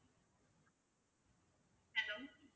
hello